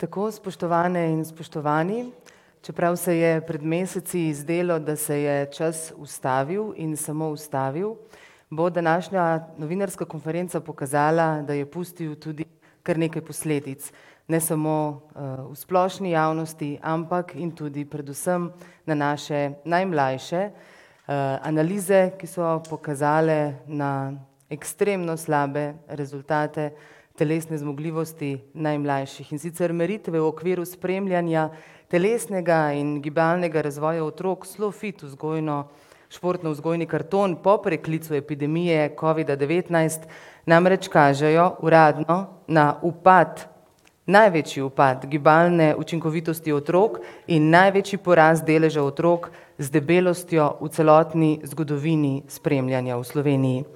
Tako, spoštovane in spoštovani, čeprav se je pred meseci zdelo, da se je čas ustavil in samo ustavil, bo današnja novinarska konferenca pokazala, da je pustil tudi kar nekaj posledic. Ne samo v splošni javnosti, ampak in tudi predvsem na naše najmlajše. analize, ki so pokazale na ekstremno slabe rezultate telesne zmogljivosti najmlajših. In sicer meritve v okviru spremljanja telesnega in gibalnega razvoja otrok SLOfit, vzgojno, športnovzgojni karton, po preklicu epidemije covida-devetnajst namreč kažejo, uradno, na upad, največji upad gibalne učinkovitosti otrok in največji porast deleža otrok z debelostjo v celotni zgodovini spremljanja v Sloveniji.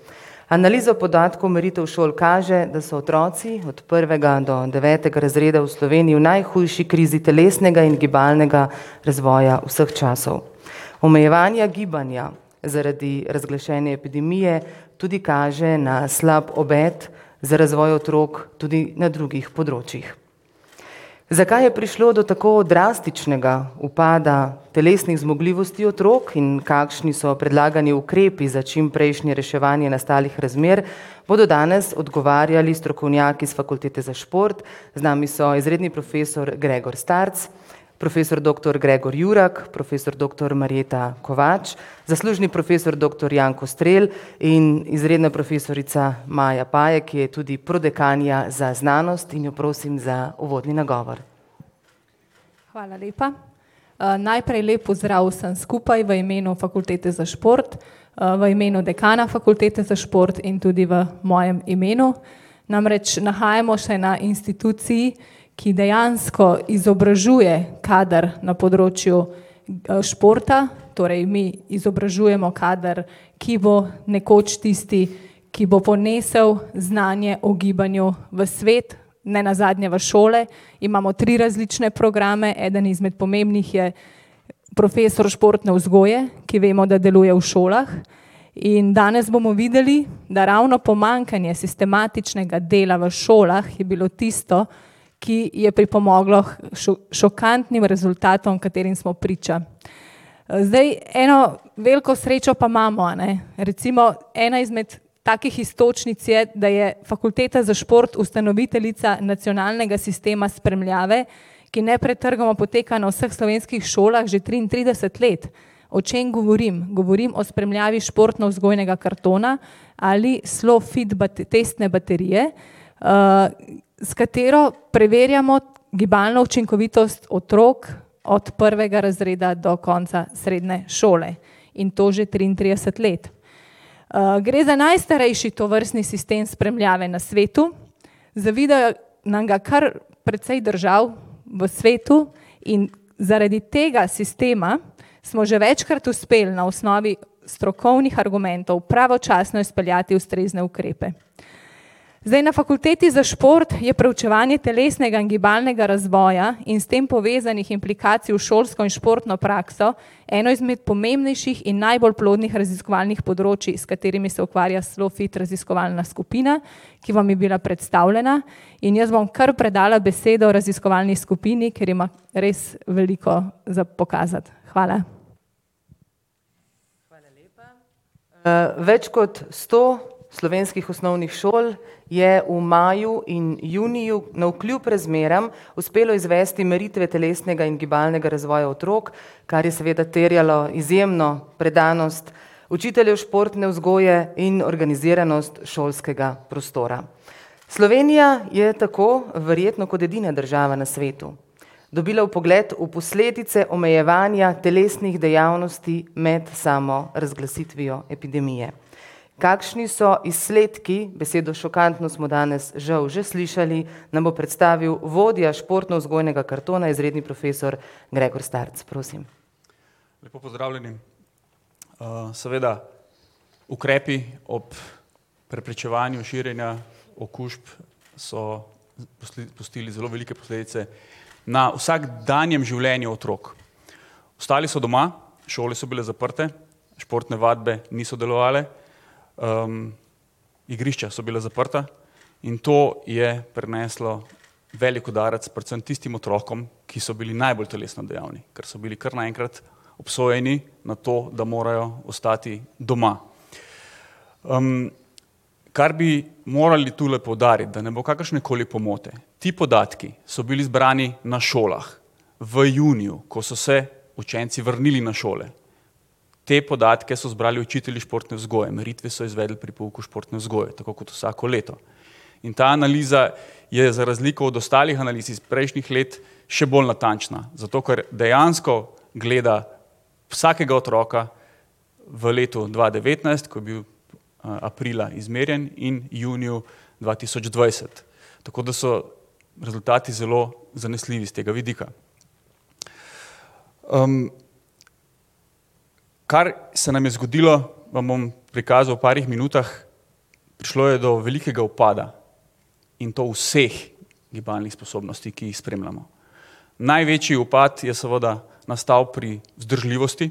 Analizo podatkov meritev šol kaže, da so otroci od prvega do devetega razreda v Sloveniji v najhujši krizi telesnega in gibalnega razvoja vseh časov. Omejevanja gibanja zaradi razglašene epidemije tudi kaže na slab obet za razvoj otrok tudi na drugih področjih. Zakaj je prišlo do tako drastičnega upada telesnih zmogljivosti otrok in kakšni so predlagani ukrepi za čimprejšnje reševanje nastalih razmer, bodo danes odgovarjali strokovnjaki s Fakultete za šport. Z nami so izredni profesor [ime in priimek] , profesor doktor [ime in priimek] , profesor doktor [ime in priimek] , zaslužni profesor doktor [ime in priimek] in izredna profesorica [ime in priimek] , ki je tudi prodekanja za znanost in jo prosim za uvodni nagovor Hvala lepa. najprej lep pozdrav vsem skupaj v imenu Fakultete za šport, v imenu dekana Fakultete za šport in tudi v mojem imenu. Namreč nahajamo se na instituciji, ki dejansko izobražuje kader na področju športa, torej mi izobražujemo kader, ki bo nekoč tisti, ki bo ponesel znanje o gibanju v svet, nenazadnje v šole. Imamo tri različne programe, eden izmed pomembnih je profesor športne vzgoje, ki vemo, da deluje v šolah in danes bomo videli, da ravno pomanjkanje sistematičnega dela v šolah je bilo tisto, ki je pripomoglo k šokantnim rezultatom, katerim smo priča. Zdaj eno veliko srečo pa imamo, a ne, recimo ena izmed takih iztočnic je, da je Fakulteta za šport ustanoviteljica nacionalnega sistema spremljave, ki nepretrgoma poteka na vseh slovenskih šolah že triintrideset let. O čem govorim? Govorim o spremljavi športnovzgojnega kartona ali SLOfit testne baterije, s katero preverjamo gibalno učinkovitost otrok od prvega razreda do konca srednje šole. In to že triintrideset let. gre za najstarejši tovrstni sistem spremljave na svetu, zavidajo nam ga kar precej držav v svetu in zaradi tega sistema smo že večkrat uspeli na osnovi strokovnih argumentov pravočasno izpeljati ustrezne ukrepe. Zdaj na Fakulteti za šport je preučevanje telesnega in gibalnega razvoja in s tem povezanih implikacij v šolsko in športno prakso eno izmed pomembnejših in najbolj plodnih raziskovalnih področij, s katerimi se ukvarja SLOfit raziskovalna skupina, ki vam je bila predstavljena, in jaz bom kar predala besedo raziskovalni skupini, ker ima res veliko za pokazati. Hvala. Hvala lepa. več kot sto slovenskih osnovnih šol je v maju in juniju navkljub razmeram uspelo izvesti meritve telesnega in gibalnega razvoja otrok, kar je seveda terjalo izjemno predanost učiteljev športne vzgoje in organiziranost šolskega prostora. Slovenija je tako verjetno kot edina država na svetu dobila vpogled v posledice omejevanja telesnih dejavnosti med samo razglasitvijo epidemije. Kakšni so izsledki, besedo šokantno smo danes žal že slišali, nam bo predstavil vodja športnovzgojnega kartona, izredni profesor [ime in priimek], prosim. Lepo pozdravljeni, seveda ukrepi ob preprečevanju širjenja okužb so pustili zelo velike posledice na vsakdanjem življenju otrok. Ostali so doma, šole so bile zaprte, športne vadbe niso delovale, igrišča so bila zaprta in to je prineslo velik udarec predvsem tistim otrokom, ki so bili najbolj telesno dejavni, ker so bili kar naenkrat obsojeni na to, da morajo ostati doma. kar bi morali tule poudariti, da ne bo kakršnekoli pomote. Ti podatki so bili zbrani na šolah, v juniju, ko so se učenci vrnili na šole. Te podatke so zbrali učitelji športne vzgoje, meritve so izvedli pri pouku športne vzgoje, tako kot vsako leto. In ta analiza je za razliko od ostalih analiz iz prejšnjih let še bolj natančna, zato ker dejansko gleda vsakega otroka v letu dva devetnajst, ko je bil aprila izmerjen in juniju dva tisoč dvajset. Tako da so rezultati zelo zanesljivi s tega vidika. Kar se nam je zgodilo, vam bom pokazal v parih minutah. Prišlo je do velikega upada in to vseh gibalnih sposobnosti, ki jih spremljamo. Največji upad je seveda nastal pri vzdržljivosti,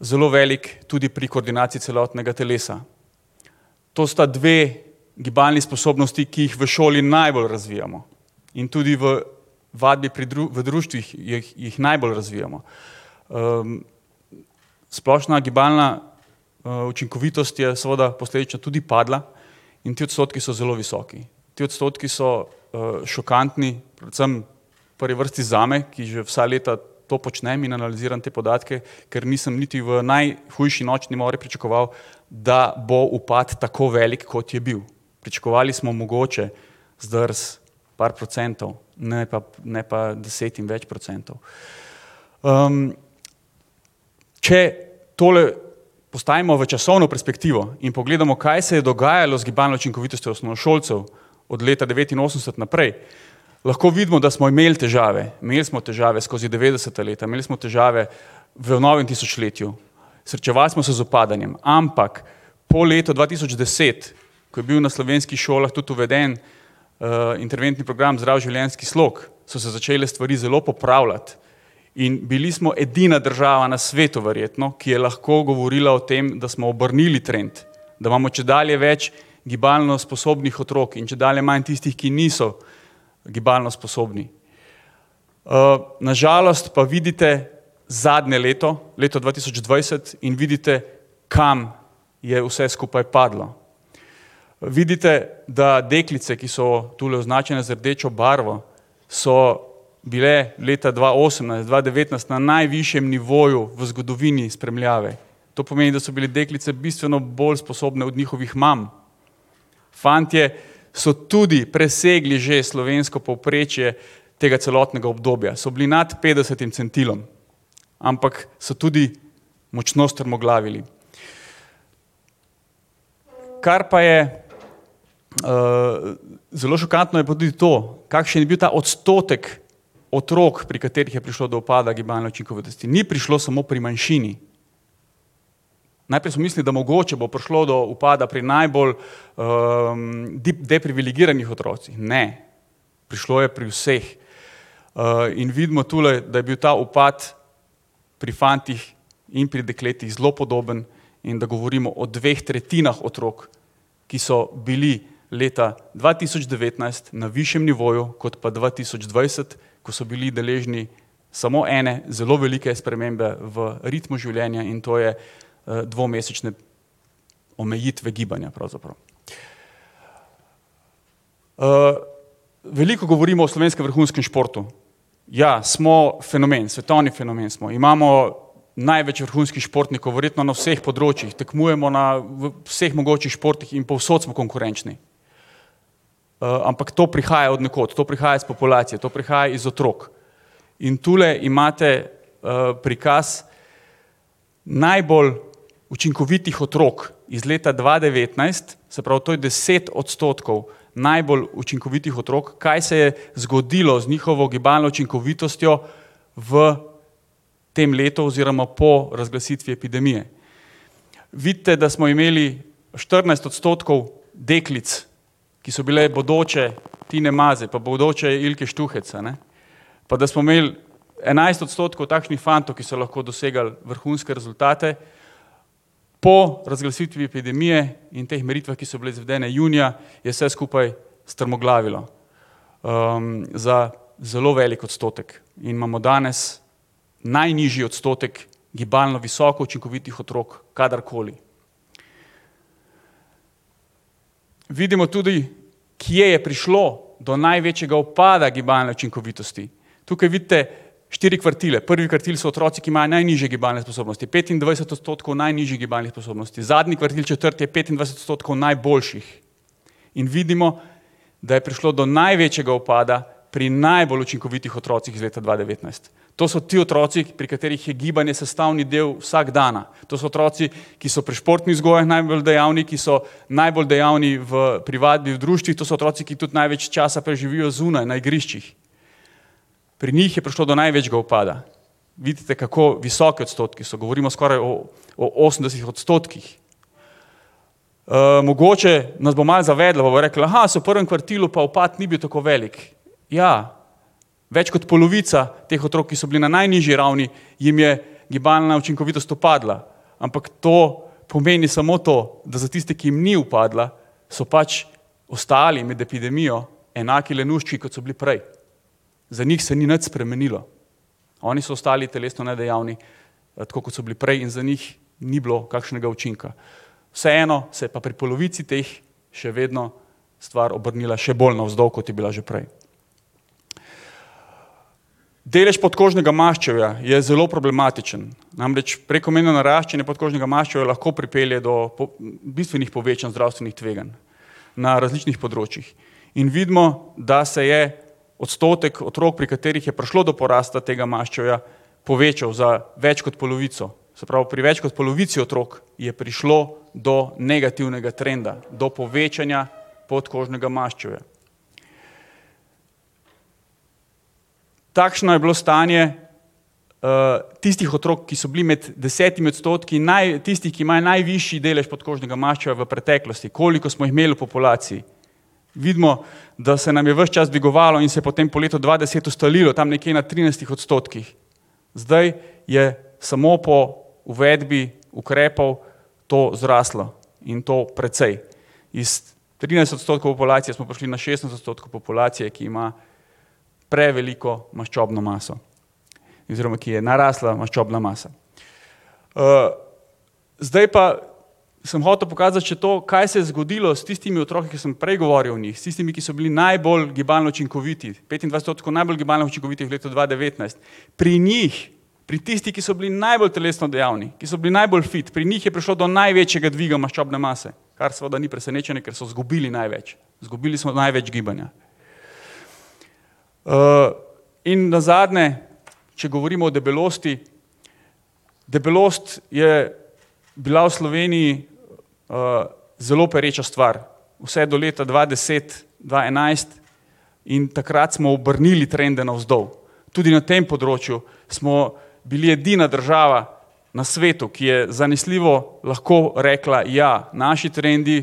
zelo veliko tudi pri koordinaciji celotnega telesa. To sta dve gibalni sposobnosti, ki jih v šoli najbolj razvijamo in tudi v vadbi pri v društvih jih, jih najbolj razvijamo. splošna gibalna učinkovitost je seveda posledično tudi padla in ti odstotki so zelo visoki. Ti odstotki so šokantni, predvsem v prvi vrsti zame, ki že vsa leta to počnem in analiziram te podatke, ker nisem niti v najhujši nočni mori pričakoval, da bo upad tako velik, kot je bil. Pričakovali smo mogoče zdrs par procentov, ne pa, ne pa deset in več procentov. če tole postavimo v časovno perspektivo in pogledamo, kaj se je dogajalo z gibalno učinkovitostjo osnovnošolcev od leta devetinosemdeset naprej, lahko vidimo, da smo imeli težave. Imeli smo težave skozi devetdeseta leta, imeli smo težave v novem tisočletju, srečevali smo se z upadanjem, ampak po letu dva tisoč deset, ko je bil na slovenskih šolah tudi uveden interventni program Zdrav življenjski slog, so se začele stvari zelo popravljati. In bili smo edina država na svetu verjetno, ki je lahko govorila o tem, da smo obrnili trend, da imamo čedalje več gibalno sposobnih otrok in čedalje manj tistih, ki niso gibalno sposobni. na žalost pa vidite zadnje leto, leto dva tisoč dvajset, in vidite, kam je vse skupaj padlo. Vidite, da deklice, ki so tule označene z rdečo barvo, so bile leta dva osemnajst, dva devetnajst na najvišjem nivoju v zgodovini spremljave, to pomeni, da so bile deklice bistveno bolj sposobne od njihovih mam. Fantje so tudi presegli že slovensko povprečje tega celotnega obdobja, so bili nad petdesetim centilom. Ampak so tudi močno strmoglavili. Kar pa je zelo šokantno, je pa tudi to, kakšen je bil ta odstotek otrok, pri katerih je prišlo do upada do gibalne učinkovitosti, ni prišlo samo pri manjšini. Najprej smo mislili, da mogoče bo prišlo do upada pri najbolj deprivilegiranih otrocih. Ne, prišlo je pri vseh. in vidimo tule, da je bil ta upad pri fantih in pri dekletih zelo podoben in da govorimo o dveh tretjinah otrok, ki so bili leta dva tisoč devetnajst na višjem nivoju kot pa dva tisoč dvajset, ko so bili deležni samo ene zelo velike spremembe v ritmu življenja in to je dvomesečne omejitve gibanja pravzaprav. veliko govorimo o slovenskem vrhunskem športu. Ja, smo fenomen, svetovni fenomen smo, imamo največ vrhunskih športnikov, verjetno na vseh področjih, tekmujemo na vseh mogočih športih in povsod smo konkurenčni. ampak to prihaja od nekod, to prihaja s populacije, to prihaja iz otrok in tule imate prikaz najbolj učinkovitih otrok iz leta dva devetnajst, se pravi to je deset odstotkov najbolj učinkovitih otrok, kaj se je zgodilo z njihovo gibalno učinkovitostjo v tem letu oziroma po razglasitvi epidemije. Vidite, da smo imeli štirinajst odstotkov deklic, ki so bile bodoče Tine Maze, pa bodoče Ilke Štuhec, a ne, pa da smo imeli enajst odstotkov takšnih fantov, ki so lahko dosegali vrhunske rezultate. Po razglasitvi epidemije in teh meritvah, ki so bile izvedene junija, je vse skupaj strmoglavilo. za zelo velik odstotek. In imamo danes najnižji odstotek gibalno visoko učinkovitih otrok kadarkoli. Vidimo tudi, kje je prišlo do največjega upada gibalne učinkovitosti. Tukaj vidite štiri kvartile, prvi kvartil so otroci, ki imajo najnižje gibalne sposobnosti, petindvajset odstotkov najnižjih gibalnih sposobnosti, zadnji kvartil, četrti, je petindvajset odstotkov najboljših. In vidimo, da je prišlo do največjega upada pri najbolj učinkovitih otrocih iz leta dva devetnajst. To so ti otroci, pri katerih je gibanje sestavni del vsakdana, to so otroci, ki so pri športni vzgojah najbolj dejavni, ki so najbolj dejavni v privatnih društvih, to so otroci, ki tudi največ časa preživijo zunaj, na igriščih. Pri njih je prišlo do največjega upada. Vidite, kako visoki odstotki so, govorimo skoraj o, o osemdesetih odstotkih. mogoče nas bo malo zavedlo, pa bomo rekli, saj v prvem kvartilu pa upad ni bil tako velik. Ja ... Več kot polovica teh otrok, ki so bili na najnižji ravni, jim je gibalna učinkovitost upadla, ampak to pomeni samo to, da za tiste, ki jim ni upadla, so pač ostali med epidemijo enaki lenuščki, kot so bili prej. Za njih se ni nič spremenilo. Oni so ostali telesno nedejavni, tako kot so bili prej, in za njih ni bilo kakšnega učinka. Vseeno se je pa pri polovici teh še vedno stvar obrnila še bolj navzdol, kot je bila že prej. Delež podkožnega maščevja je zelo problematičen. Namreč prekomerno naraščanje podkožnega maščevja lahko pripelje do bistvenih povečanj zdravstvenih tveganj na različnih področjih. In vidimo, da se je odstotek otrok, pri katerih je prišlo do porasta tega maščevja, povečal za več kot polovico. Se pravi pri več kot polovici otrok je prišlo do negativnega trenda, do povečanja podkožnega maščevja. Takšno je bilo stanje tistih otrok, ki so bili med desetimi odstotki tistih, ki imajo najvišji delež podkožnega maščevja v preteklosti, koliko smo jih imeli v populaciji. Vidimo, da se nam je ves čas dvigovalo in se je potem po letu dva deset ustalilo, tam nekje na trinajstih odstotkih. Zdaj je samo po uvedbi ukrepov to zraslo. In to precej. Iz trinajst odstotkov populacije smo prišli na šestnajst odstotkov populacije, ki ima preveliko maščobno maso oziroma ki ji je narasla maščobna masa. zdaj pa sem hotel pokazati še to, kaj se je zgodilo s tistimi otroki, ker sem prej govoril o njih, s tistimi, ki so bili najbolj gibalno učinkoviti, petindvajset odstotkov najbolj gibalno učinkovitih v letu dva devetnajst. Pri njih, pri tistih, ki so bili najbolj telesno dejavni, ki so bili najbolj fit, pri njih je prišlo do največjega dviga maščobne mase, kar seveda ni presenečenje, ker so zgubili največ, zgubili so največ gibanja. in nazadnje, če govorimo o debelosti. Debelost je bila v Sloveniji zelo pereča stvar, vse do leta dva deset, dva enajst, in takrat smo obrnili trende navzdol. Tudi na tem področju smo bili edina država na svetu, ki je zanesljivo lahko rekla, ja, naši trendi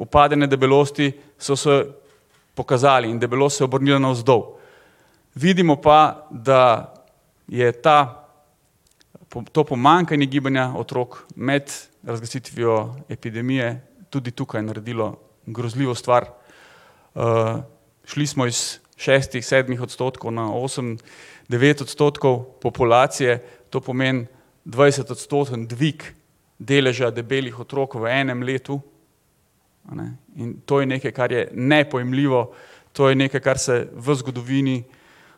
upadanja debelosti so se pokazali in debelost se je obrnila navzdol. Vidimo pa, da je ta, to pomanjkanje gibanja otrok med razglasitvijo epidemije tudi tukaj naredilo grozljivo stvar. šli smo iz šestih, sedmih odstotkov na osem, devet odstotkov populacije. To pomeni dvajsetodstotni dvig deleža debelih otrok v enem letu, a ne, in to je nekaj, kar je nepojemljivo. To je nekaj, kar se v zgodovini,